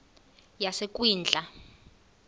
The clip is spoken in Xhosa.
yasekwindla